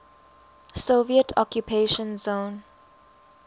soviet occupation zone